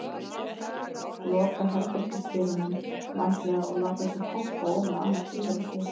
Loka herbergisdyrunum vandlega og láta sig pompa ofan á annað tilverusvið.